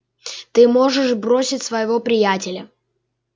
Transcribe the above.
ты можешь бросить своего приятеля